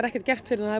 ekkert gert fyrr en